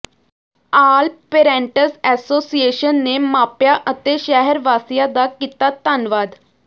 ਆਲ parents association ਨੇ ਮਾਪਿਆਂ ਅਤੇ ਸ਼ਹਿਰ ਵਾਸੀਆਂ ਦਾ ਕੀਤਾ ਧੰਨਵਾਦ